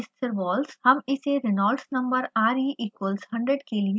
हम इसे reynolds no re = 100 के लिए हल करेंगे